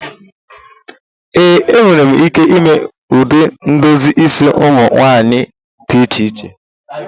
Ee, m nwere ike ime ụdị ndozi isi ụmụ nwanyị dị iche iche